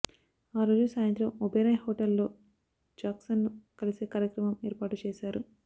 ఆ రోజు సాయంత్రం ఒబెరాయ్ హోటల్లో జాక్సన్ను కలిసే కార్యక్రమం ఏర్పాటు చేశారు